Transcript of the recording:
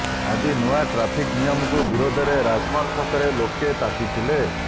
ଆଜି ନୂଆ ଟ୍ରାଫିକ ନିୟମକୁ ବିରୋଧରେ ରାଜମହଲ ଛକରେ ଲୋକେ ତାତିଥିଲେ